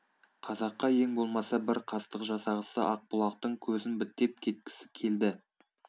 қазаққа ең болмаса бір қастық жасағысы ақ бұлақтың көзін бітеп кеткісі келді